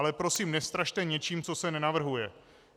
Ale prosím, nestrašte něčím, co se nenavrhuje.